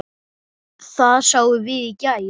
Það sáum við í gær.